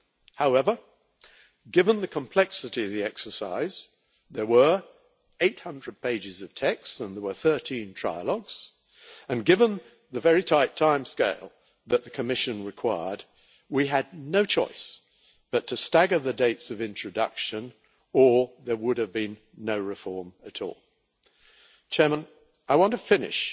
However, given the complexity of the exercise there were 800 pages of text and 13 trilogues and given the very tight timescale that the Commission required, we had no choice but to stagger the dates of introduction or there would have been no reform at all. I want to finish